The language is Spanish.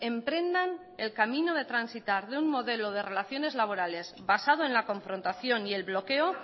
emprendan el camino de transitar de un modelo de relaciones laborales basado en la confrontación y el bloqueo